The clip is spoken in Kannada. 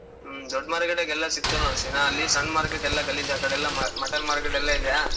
ಹ್ಮ್ ದೊಡ್ಡ್ market ಆಗ ಎಲ್ಲಾ ಸಿಗ್ತಾವ್ ನೋಡ್ ಸೀನಾ ಅಲ್ಲಿ ಸಣ್ಣ್ market ಎಲ್ಲ ಗಲೀಜ್ ಆ ಕಡೆ ಎಲ್ಲ ಮ~ mutton market ಎಲ್ಲಾ ಇದೆಯಾ.